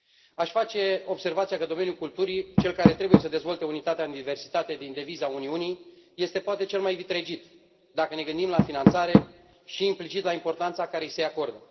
Aș face observația că domeniul culturii, cel care trebuie să dezvolte unitatea în diversitate din deviza Uniunii, este poate cel mai vitregit, dacă ne gândim la finanțare și, implicit, la importanța care i se acordă.